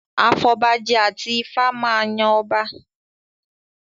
Afọbajẹ àti Ifá máa yan ọba